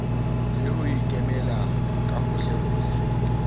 le ho ikemela ka hohlehohle